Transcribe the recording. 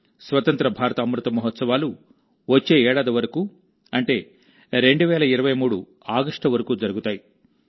స్వతంత్ర భారత అమృత మహోత్సవాలు వచ్చే ఏడాది వరకు అంటే 2023 ఆగస్టు వరకు జరుగుతాయి